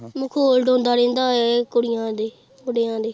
ਮਖ਼ੌਲ ਉਡਾਉਂਦਾ ਰਹਿੰਦਾ ਏ ਕੁੜੀਆਂ ਦੇ ਮੁੰਡਿਆਂ ਦੇ।